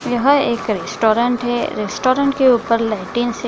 यहां एक रेस्टोरेंट है। रेस्टोरेंट के ऊपर लाइटिंग है |